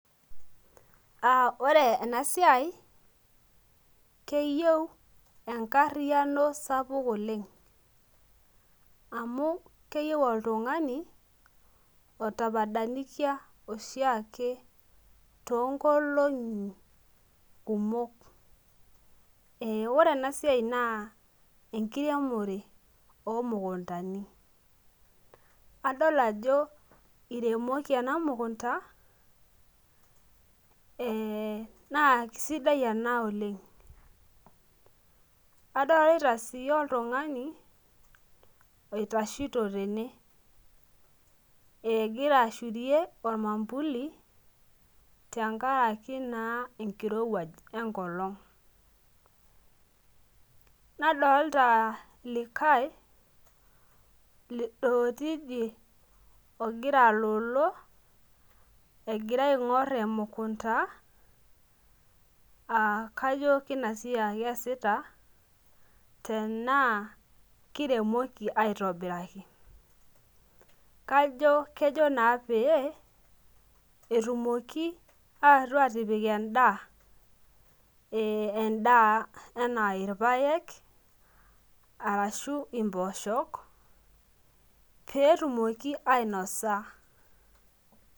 Aa ore enasiai keyieu enkariano sapuk oleng amu keyieu oltungani otapadanikia oshiake toonkolongi kumok . Ee ore enasiai naa enkiremore omukuntani , adol ajo iremoki enamukunta ee naasidai oleng , kadolita sii oltungani oitashito tene , egira ashurie ormwambuli tenkaraki naa enkirewuaj enkop enkolong, nadolta likae ogira alolo egira aingor emukunta aakajo kina siai aeasita tenaa kiremoki aitobiraki , kajo kejo naa pee etumoki aetu atipik endaa , ee endaa anaa irpaek arashu imposhok petumoki ainosa .